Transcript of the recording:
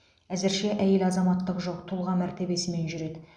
әзірше әйел азаматтығы жоқ тұлға мәртебесімен жүреді